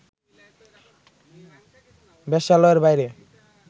বেশ্যালয়ের বাইরে